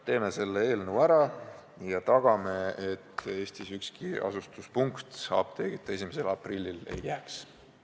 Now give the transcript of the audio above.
Teeme selle eelnõu seaduseks ja tagame, et Eestis ükski asula apteegita 1. aprillil ei jää!